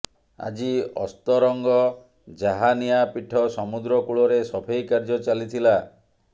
ଆଜି ଅସ୍ତରଙ୍ଗ ଜାହାନିଆ ପୀଠ ସମୁଦ୍ର କୂଳରେ ସଫେଇ କାର୍ଯ୍ୟ ଚାଲିଥିଲା